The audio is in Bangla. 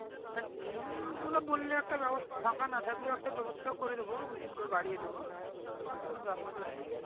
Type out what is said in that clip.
হ্যাঁ team তোমরা বললে একটা ব্যবস্থা ফাঁকা না থাকলেও একটা ব্যবস্থা করে দেবো ওখান থেকে বাড়িয়ে দেবো কোনো ব্যাপার নেই